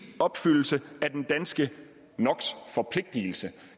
opfyldelse af den danske no